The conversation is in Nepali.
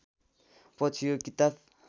पछि यो किताब